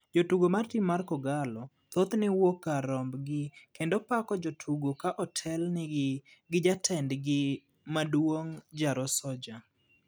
Johera mar tim mar kogallo ,thothne wuok kar romb gi kendo pako jotugo ka otel ne gi Jatend gi maduong' Jaro soldier.